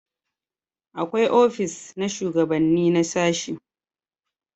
akwai ofis na shugabanni na sashi